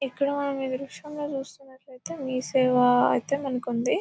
ఇక్కడ మనం మీ దృశ్యంలో చూస్తుంటే మీసేవ అయితే ఉంది మనకి